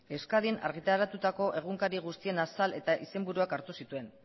euskadin argitaratuko egunkari guztien azal eta izenburua hartu zituen